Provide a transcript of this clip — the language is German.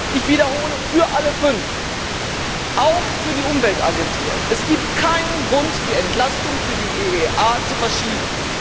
Ich wiederhole für alle fünf, auch für die Umweltagentur. Es gibt keinen Grund, die Entlastung für die EEA zu verschieben.